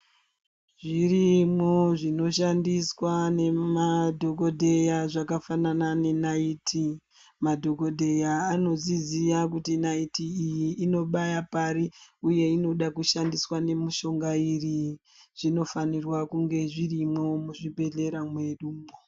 Zvirimwo zvino shandiswa ne madhokodheya zvakafanana ne naiti. Madhokodheya anozviziya kuti naiti iyi inobaya pari uye inoda kushandiswa ne mushonga iri . Zvino fanirwa kunge zvirimwo mu zvibhedhlera mwedumwo.